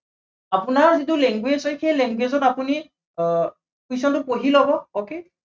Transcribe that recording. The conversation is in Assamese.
আপোনাৰ যিটো language হয়, সেই language ত আপুনি আহ question টো পঢ়ি লব okay